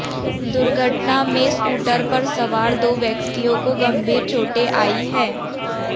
दुर्घटना में स्कूटर पर सवार दो व्यक्तियों को गंभीर चोटें आई हैं